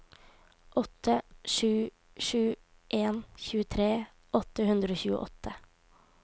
åtte sju sju en tjuetre åtte hundre og tjueåtte